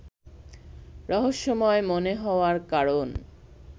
রহস্যময় মনে হওয়ার কারণ